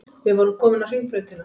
Við vorum komin á Hringbrautina.